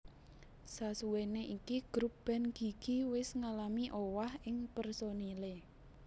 Sasuwene iki grup band Gigi wis ngalami owah ing personile